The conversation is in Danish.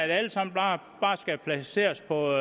alle sammen bare skal placeres på